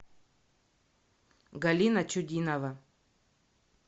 галина чудинова